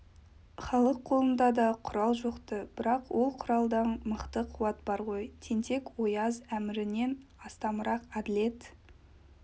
халық қолында да құрал жоқты бірақ ол құралдан мықты қуат бар ғой тентек-ояз әмірінен астамырақ әділет